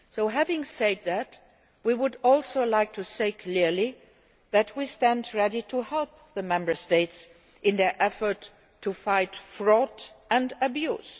Having said that, we would also like to say clearly that we stand ready to help the Member States in their efforts to fight fraud and abuse.